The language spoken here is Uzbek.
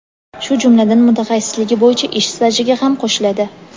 shu jumladan mutaxassisligi bo‘yicha ish stajiga ham qo‘shiladi.